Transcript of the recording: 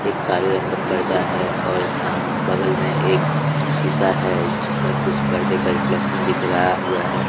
एक काले रंग का पर्दा हैऔर साम बगल मे एक शीशा हैजिसमें कुछ पर्दे का रिफ्लेक्शन दिख रहा हुआ है।